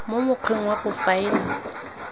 mo mokgweng wa go faela